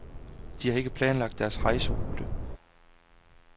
De har ikke planlagt deres rejserute.